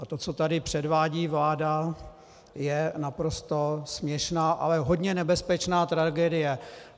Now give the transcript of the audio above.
A to, co tady předvádí vláda, je naprosto směšná, ale hodně nebezpečná tragédie.